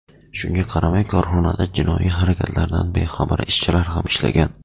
Shunga qaramay, korxonada jinoiy harakatlardan bexabar ishchilar ham ishlagan.